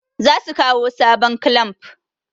zasu kawo sabon clamp